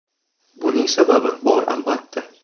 Buning sababi bor albatta.